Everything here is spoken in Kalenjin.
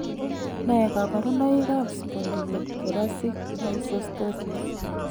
Nee kabarunoikab Spondylothoracic dysostosis?